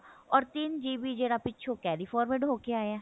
ਓਰ ਤਿੰਨ GB ਜਿਹੜਾ ਪਿੱਛੋ carry forward ਹੋ ਕਿ ਆਇਆ